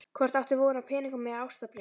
Hvort áttu von á peningum eða ástarbréfi?